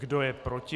Kdo je proti?